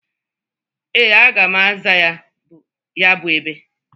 Ee, aga m aza ya bụ ebe.